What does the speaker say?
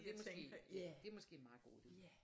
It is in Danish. Det måske det måske en meget god idé